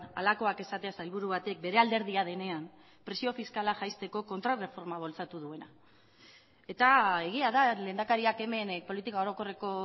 halakoak esatea sailburu batek bere alderdia denean presio fiskala jaisteko kontraerreforma bultzatu duena eta egia da lehendakariak hemen politika orokorreko